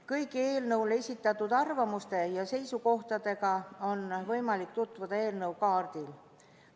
Kõigi eelnõu kohta esitatud arvamuste ja seisukohtadega on võimalik tutvuda eelnõu kaardil.